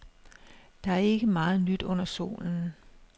Der er ikke meget nyt under solen.